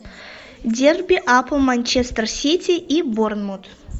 дерби апл манчестер сити и борнмут